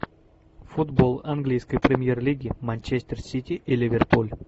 футбол английской премьер лиги манчестер сити и ливерпуль